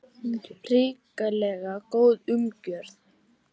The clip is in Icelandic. Hrikalega góð umgjörð